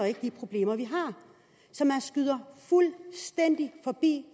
ikke de problemer vi har så man skyder fuldstændig forbi